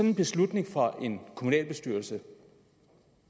en beslutning i en kommunalbestyrelse